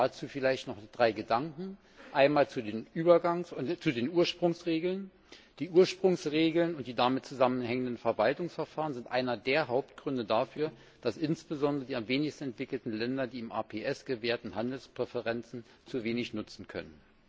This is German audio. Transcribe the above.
Dazu vielleicht noch drei Gedanken Einmal zu den Ursprungsregeln Die Ursprungsregeln und die damit zusammenhängenden Verwaltungsverfahren sind einer der Hauptgründe dafür, dass insbesondere die am wenigsten entwickelten Länder, die im APS gewährten Handelspräferenzen zu wenig nutzen können.